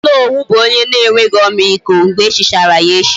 Onowu bu onye na enweghi ọmịiko, mgbe echichara ya echichi